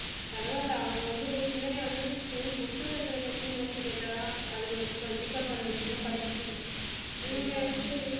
பரவாயில்லை அவங்க வந்து பிள்ளைங்க வந்து school book ல இருக்கிற question மட்டும் கேட்டா அதுங்களை ப~ pick up பண்ணிடுங்க